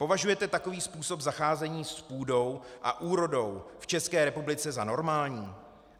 Považujete takový způsob zacházení s půdou a úrodou v České republice za normální?